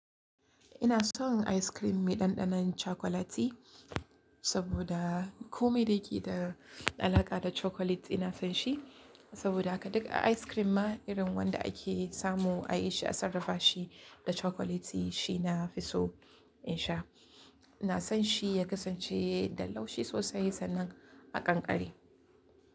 Ina son ice cream mai ɗanɗanon cokolati saboda kome da ke da alaƙa da cokolati na fan shi. Saboda haka duk ice cream ma irin wanda ake samu a yi shi a sarrafa shi da chokolati shi na fi so in sha. Na san shi ya kasance da laushi sosai sannan a ƙanƙare.